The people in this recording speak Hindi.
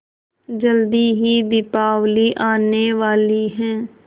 जल्दी ही दीपावली आने वाली है